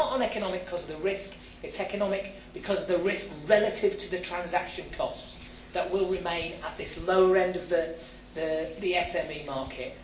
It is not uneconomic because of the risk, it is uneconomic because of the risk relative to the transaction costs that will remain at this lower end of the SME market.